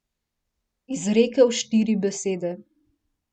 Izrekel štiri besede.